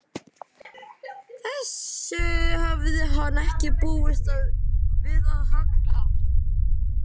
Þessu hafði hann ekki búist við af Halla.